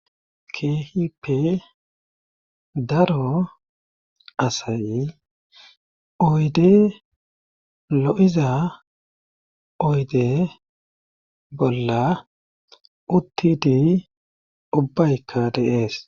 keehippe daro asay oyde lo7iza oyde bolla uttidi ubbay kadeees